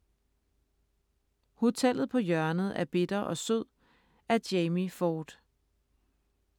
Hotellet på hjørnet af bitter og sød af Jamie Ford